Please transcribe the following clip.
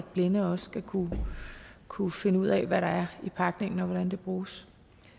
blinde også skal kunne kunne finde ud af hvad der er i pakningen og hvordan medicinen bruges